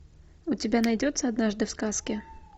у тебя найдется однажды в сказке